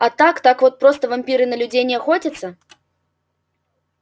а так так вот просто вампиры на людей не охотятся